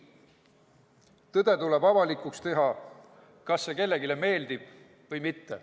Tõde tuleb avalikuks teha, kas see kellelegi meeldib või mitte